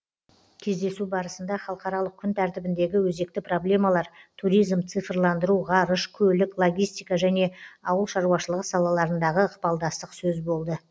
кездесу барысында халықаралық күн тәртібіндегі өзекті проблемалар туризм цифрландыру ғарыш көлік логистика және ауыл шаруашылығы салаларындағы ықпалдастық сөз болды